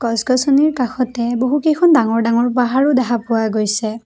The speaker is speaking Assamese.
গছ-গছনিৰ কাষতে বহুকেইখন ডাঙৰ ডাঙৰ পাহাৰো দেখা পোৱা গৈছে।